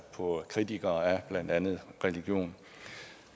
på kritikerne af blandt andet religion